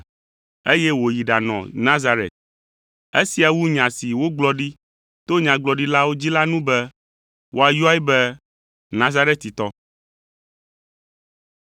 eye wòyi ɖanɔ Nazaret. Esia wu nya si wogblɔ ɖi to nyagblɔɖilawo dzi la nu be, “Woayɔe be Nazaretitɔ.”